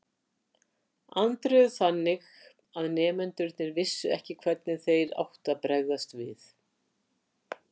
Andreu þannig að nemendurnir vissu ekki hvernig þeir áttu að bregðast við.